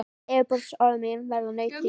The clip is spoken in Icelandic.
Yfirborðsleg orð mín verða nautn þín.